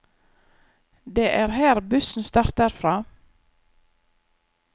Det er her bussen starter fra.